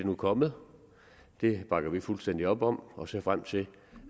nu kommet det bakker vi fuldstændig op om og ser frem til